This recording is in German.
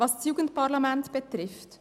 Was das Jugendparlament betrifft: